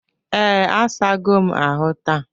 Ee, asago m ahụ taa.